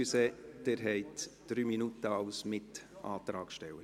Entschuldigung, Sie haben als Mitantragsteller drei Minuten.